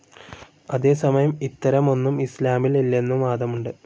അതേസമയം ഇത്തരമൊന്നു ഇസ്‌ലാമിൽ ഇല്ലെന്നും വാദമുണ്ട്.